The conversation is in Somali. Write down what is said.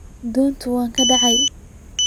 Donta way kacde.